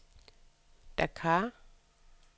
Dakar